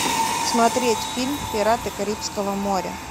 смотреть фильм пираты карибского моря